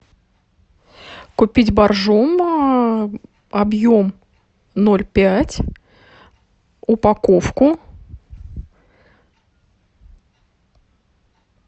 купить боржоми объем ноль пять упаковку